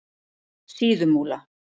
Síðumúla